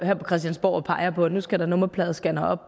her på christiansborg og peger på at nu skal der nummerpladescannere